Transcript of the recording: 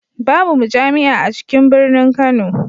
Babu mujami'a a cikin birinin Kano.